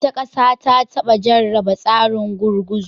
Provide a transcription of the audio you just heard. Wata ƙasa ta taba jarraba tsarin gurguzu.